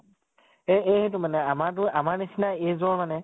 এ এইহেতো মানে আমাৰতো আমাৰ নিছিনা age ৰ মানে